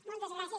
moltes gràcies